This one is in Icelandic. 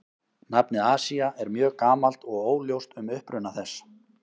Nafnið Asía er mjög gamalt og óljóst um uppruna þess.